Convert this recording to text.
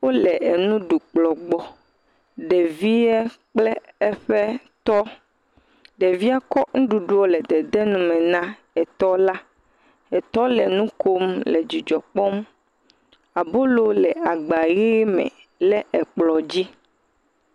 Wole enu ɖukplɔ gbɔ. Ɖevia kple eƒe trɔ. Ɖevia kɔ nuɖuɖu le dede nu me na etɔ la. Etɔ le nu kom le dzidzɔ kpɔm. Abolo le agba ʋe me le ekplɔ dzi.